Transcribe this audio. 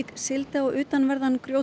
sigldi á utanverðan